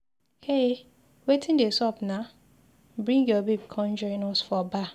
Hey! Wetin dey sup naa, bring your babe come join us for bar